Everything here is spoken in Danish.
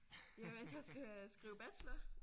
Jo altså jeg skal skrive bachelor